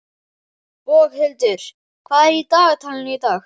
Boghildur, hvað er í dagatalinu í dag?